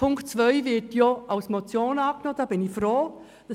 Punkt 2 wird bekanntlich als Motion angenommen, worüber ich froh bin.